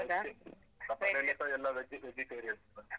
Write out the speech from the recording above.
ನಮ್ಮನೆಯಲ್ಲಿಸ ಎಲ್ಲ veg, vegetarians.